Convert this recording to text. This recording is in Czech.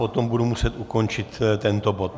Potom budu muset ukončit tento bod.